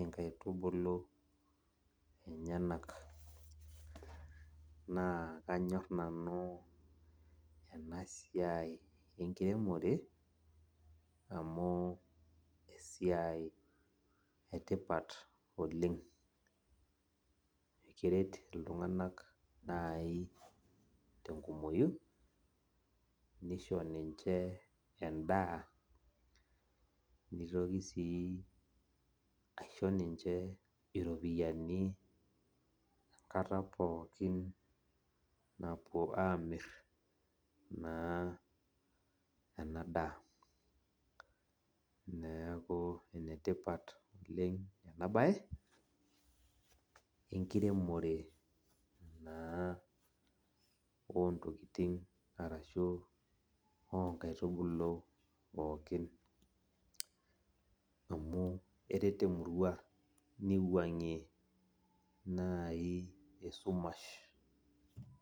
onkaitubulu emyenak na kanyor nanu enasiai enkiremore amu esiaia etipat oleng keret ltunganak nai tenkumoi nisho minche endaa nitoki aisho ninche iropiyani enkata pookin napuo amir na enadaa neaku enetipat oleng enabae enkiremore naa ontokitin ashu onkaitubulu pooki amu keret emurua niwangie nai esumash.